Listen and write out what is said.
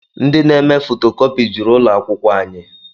Ndị na-eme fotokopi juru ụlọ akwụkwọ anyị